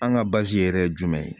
An ka yɛrɛ jumɛn ye